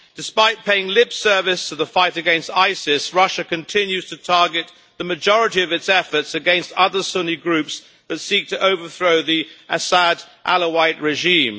Despite paying lip service to the fight against ISIS, Russia continues to target the majority of its efforts against other Sunni groups that seek to overthrow the Assad Alawite regime.